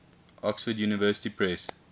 oxford university press